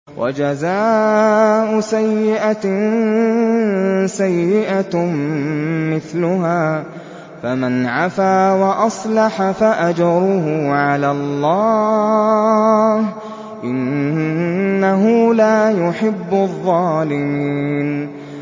وَجَزَاءُ سَيِّئَةٍ سَيِّئَةٌ مِّثْلُهَا ۖ فَمَنْ عَفَا وَأَصْلَحَ فَأَجْرُهُ عَلَى اللَّهِ ۚ إِنَّهُ لَا يُحِبُّ الظَّالِمِينَ